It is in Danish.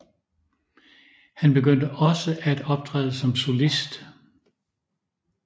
Han begyndte også at optræde som solist